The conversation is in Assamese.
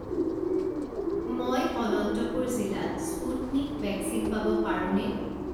মই অনন্তপুৰ জিলাত স্পুটনিক ভেকচিন পাব পাৰোঁনে?